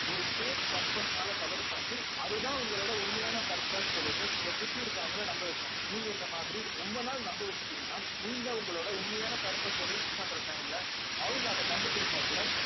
ஒரு fake purpose னால cover பண்ணி அதுதான் உங்களோட உண்மையான purpose ன்னு சொல்லிட்டு உங்களை சுத்தி இருக்கிறவங்களை நம்ப வைக்கணும் நீங்க இந்த மாதிரி ரொம்ப நாள் நம்ப வச்சுட்டீங்கன்னா நீங்க உங்களோட உண்மையான purpose அ reach பண்ற time ல அவங்க அதை கண்டுபிடிச்சா கூட